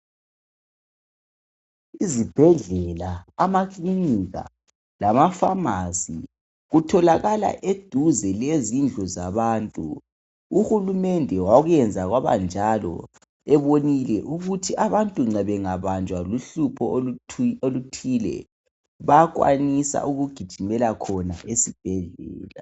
Izibhedlela, amakilikika lamafamasi kutjolakala eduze lezindlu zabantu. Uhurumende wakuyenza kwabanjalo ebonile ukuthi abantu bangabanjwa lohlupho oluthile bayakwanisa ukugijimela khona esibhedlela.